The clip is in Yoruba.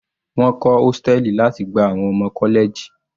Wọ́n kọ́ hóstẹ̀lì láti gba àwọn ọmọ college.